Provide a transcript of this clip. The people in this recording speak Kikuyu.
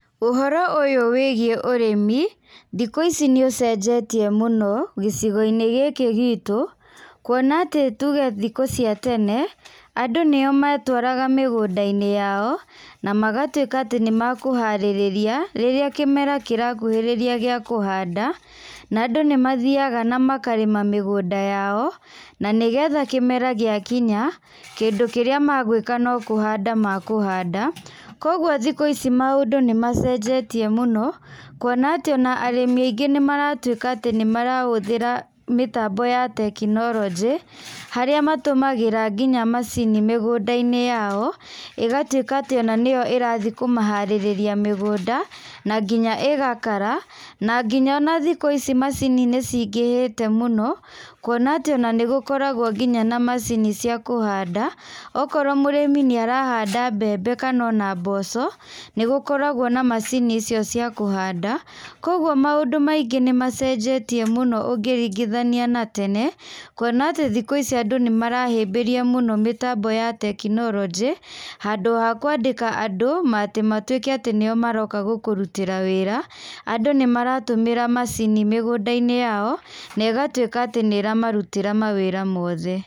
Ũhoro ũyũ wĩgiĩ ũrĩmi, thikũ ici nĩ ũcenjetie mũno gĩcigo-inĩ gĩkĩ gitũ kuona atĩ tuge thikũ cia tene, andũ nĩo metwaraga mĩgũnda-inĩ yao na magatuĩka atĩ nĩ mekũharĩrĩria rĩrĩa kĩmera kĩrakuhĩrĩria gĩa kũhanda, na andũ nĩ mathiaga na makarĩma mĩgũnda yao, na nĩgetha kĩmera gĩakinya, kĩndũ kĩrĩa magũĩka no kũhanda makũhanda. Koguo thikũ ici maũndũ nĩmacenjetie mũno kuona atĩ ona arĩmi aingĩ nĩmaratuĩka atĩ nĩmarahũthĩra mĩtambo ya tekinoronjĩ, harĩa matũmagĩra nginya macini mĩgũnda-inĩ yao, ĩgatuĩka atĩ ona nĩyo ĩrathiĩ kũmĩharĩrĩria mĩgũnda, na nginya ĩgakara. Na nginya ona thikũ ici macini nĩcingĩhĩte mũno kuona atĩ ona nĩgũkoragwo nginya macini cia kũhanda, okorwo mũrĩmi nĩ arahanda mbembe ona kana mboco, nĩgũkoragwo na macini icio cia kũhanda. Koguo maũndũ maingĩ nĩ macenjetie mũno ũngĩringithania na tene, kuona atĩ thikũ ici andũ nĩ marahĩmbĩria mũno mĩtambo ya tekinoronjĩ handũ ha kũandĩka andũ atĩ matuĩke atĩ nĩo maroka gũkũrutĩra wĩra, andũ nĩ maratũmĩra macini mĩgũnda-inĩ yao na ĩgatuĩka atĩ nĩ ĩramarutĩra mawĩra mothe.